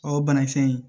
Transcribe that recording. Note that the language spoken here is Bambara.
O banakisɛ in